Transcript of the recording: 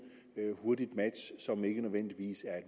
hurtigt match som ikke nødvendigvis er